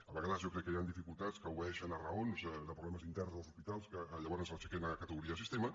a vegades jo crec que hi han dificultats que obeeixen a raons de problemes interns dels hospitals que llavors ho aixequen a categoria de sistema